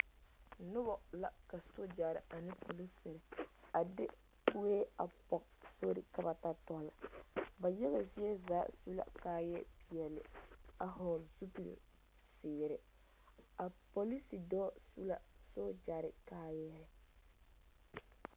Noba la ka sogyare ane polisiri a de kue a pɔge sori ka ba ta tɔle, ba yaga zie zaa su la kaaya peɛle a hɔɔle zupili zeere, a polisi dɔɔ su la sogyare kaayaa.